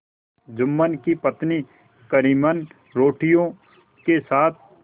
जुम्मन की पत्नी करीमन रोटियों के साथ